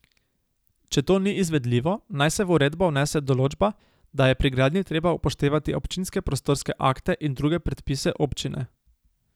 Če to ni izvedljivo, naj se v uredbo vnese določba, da je pri gradnji treba upoštevati občinske prostorske akte in druge predpise občine.